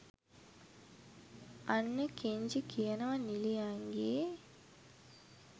අන්න කෙන්ජි කියනවා නිලියන් ගේ